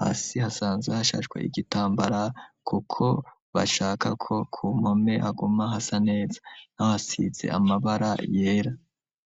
hasi hasanze hashashwe igitambara, kuko bashakako ku mpome aguma hasa neza nahoasize amabe bara yera.